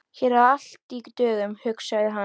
Hér er allt í dögun, hugsaði hann.